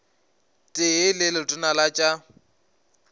tee le letona la tša